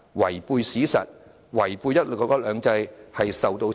違背史實，違背"一國兩制"，最終會受到懲罰。